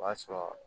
O b'a sɔrɔ